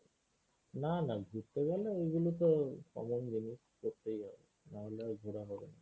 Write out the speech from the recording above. না না ঘুরতে গেলে ওইগুলো তো common জিনিস করতেই হবে নাহলে আর ঘোরা হবে না।